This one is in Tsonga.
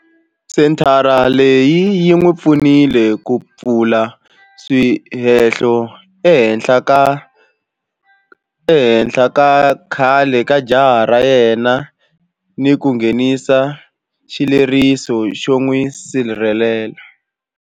Senthara leyi yi n'wi pfunile ku pfula swihehlo ehenhla ka khale ka jaha ra yena ni ku nghenisa xileriso xo n'wi sirhelela.